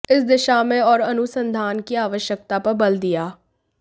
इस दिशा में और अनुसंधान की आवश्यकता पर बल दिया